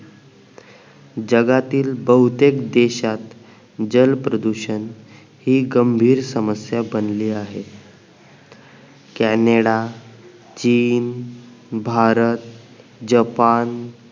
जगातील बहुतेक देशात जल प्रदूषण हि गंभीर समस्या बनली आहे कॅनेडा चीन भारत जपान